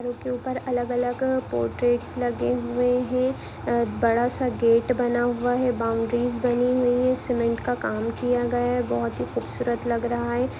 के ऊपर अलग अलग पोट्रेटस लगे हुए है अ बड़ासा गेट बना हुआ है बाउंड्रीज बनी हुई है सीमेंट का काम किया गया है बहुत ही खूब सूरत लग रहा है।